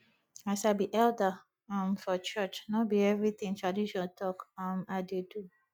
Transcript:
as i be elder um for church no be everytin tradition talk um i dey do